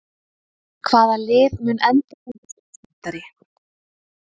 Hvaða lið mun enda sem Íslandsmeistari?